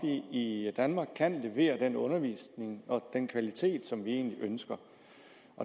vi i danmark kan levere den undervisning og den kvalitet som vi egentlig ønsker